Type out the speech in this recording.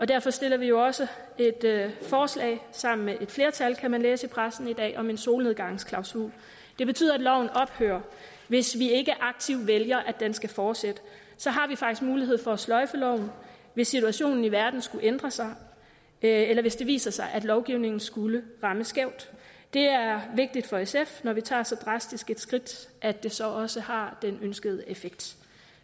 derfor stiller vi jo også et forslag sammen med et flertal kan man læse i pressen i dag om en solnedgangsklausul det betyder at loven ophører hvis vi ikke aktivt vælger at den skal fortsætte så har vi faktisk mulighed for at sløjfe loven hvis situationen i verden skulle ændre sig eller hvis det viser sig at lovgivningen skulle ramme skævt det er vigtigt for sf når vi tager så drastisk et skridt at det så også har den ønskede effekt